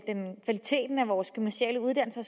en af vores gymnasiale uddannelser